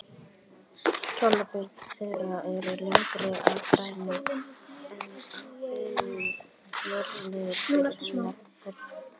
Kjálkabein þeirra eru lengri og grennri en á hinum mögulega fyrirrennara þeirra.